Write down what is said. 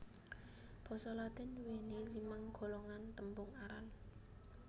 Basa Latin nduwèni limang golongan tembung aran